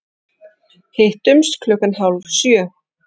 Hittumst klukkan hálf sjö.